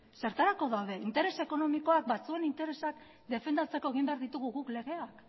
zertarako daude interes ekonomikoak batzuen interesak defendatzeko egin behar ditugu guk legeak